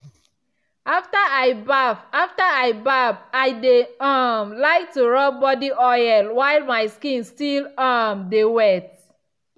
after i baff after i baff i dey um like to rub body oil while my skin still um dey wet.